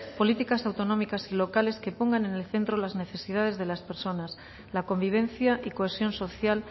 políticas autonómicas y locales que pongan en el centro las necesidades de las personas la convivencia y cohesión social